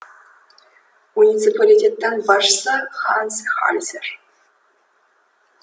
муниципалитеттің басшысы ханс хальзер